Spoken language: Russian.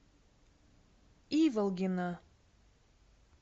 иволгина